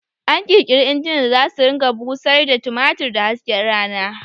An ƙirƙiri injinan da zasu ringa busar da tumatir da hasken rana